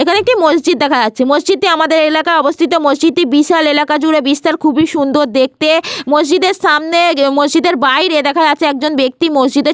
প্রতিদিন নামাজ পড়তে আসে এই মসজিদে। প্রতিদিন আজান ধ্বনি শোনা যায়।